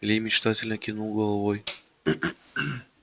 ли мечтательно кивнул головой